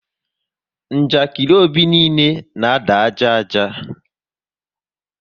Njakiri Obi niile na ada ájá ájá